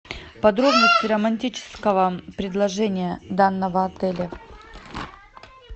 подробности романтического предложения данного отеля